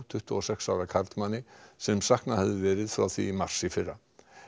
tuttugu og sex ára karlmanni sem saknað hafði verið frá því í mars í fyrra